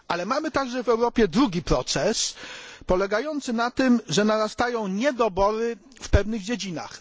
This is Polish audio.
Ale mamy także w Europie drugi proces polegający na tym, że narastają niedobory w pewnych dziedzinach.